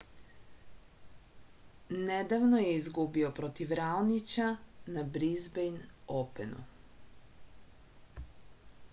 nedavno je izgubio protiv raonića na brizbejn openu